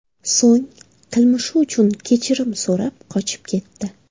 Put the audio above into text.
So‘ng qilmishi uchun kechirim so‘rab qochib ketdi .